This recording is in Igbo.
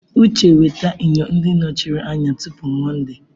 Uche weta enyo ndị nọchiri anya tupu Mọnde!